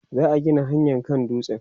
za'a Gina hanyaa kan dutsen